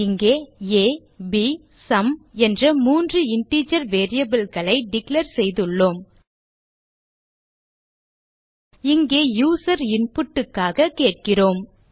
இங்கே a b மற்றும் sum என்ற மூன்று இன்டிஜர் வேரியபிள் களை டிக்ளேர் செய்துள்ளோம் இங்கே யூசர் இன்புட் க்காக கேட்கிறோம்